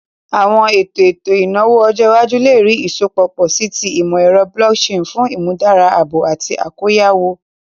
Awọn eto eto inawo ọjọ iwaju le rii isọpọ pọ si ti imọ-ẹrọ blockchain fun imudara aabo ati akoyawo.